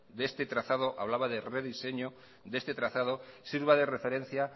de este trazado hablaba de rediseño de este trazado sirva de referencia